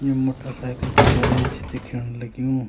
You motorcycle कु garage दिख्येण लग्यूं।